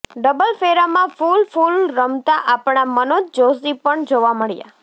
double ફેરામાં ફૂલ ફૂલ રમતા આપણા મનોજ જોષી પણ જોવા મળ્યાં